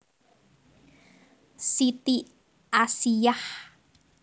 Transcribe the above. Siti Asiyah